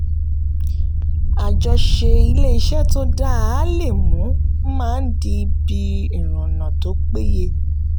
àjọṣepọ̀ ilé-iṣẹ́ tó dáa le mu mma di ibi ìrìnnà tó péye.